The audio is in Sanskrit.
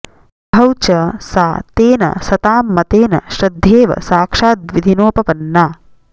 बभौ च सा तेन सतां मतेन श्रद्धेव साक्षाद्विधिनोपपन्ना